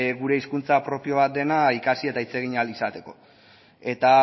gure hizkuntza propio bat dena ikasi eta hitz egin ahal izateko eta